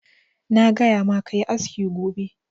Na gaya ma ka yi aski gobe!